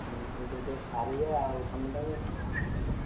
ଇମିତି ଗୋଟେ ଗୋଟେ ସାରିବା କାମଟାକୁ।